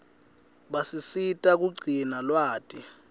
basisita kugcina lwati